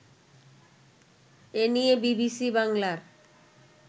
এ নিয়ে বিবিসি বাংলার